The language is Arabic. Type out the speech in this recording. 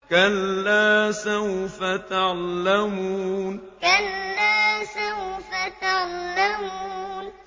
كَلَّا سَوْفَ تَعْلَمُونَ كَلَّا سَوْفَ تَعْلَمُونَ